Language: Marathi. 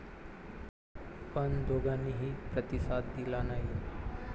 पण दोघांनीही प्रतिसाद दिला नाही.